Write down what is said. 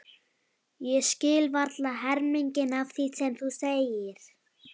Ég skil varla helminginn af því sem þú segir.